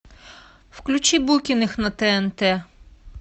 включи букиных на тнт